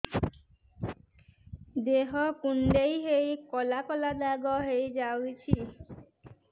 ଦେହ କୁଣ୍ଡେଇ ହେଇ କଳା କଳା ଦାଗ ହେଇଯାଉଛି